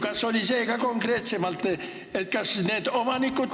Kas oli kõne all ka konkreetsemalt, et kas need omanikud ...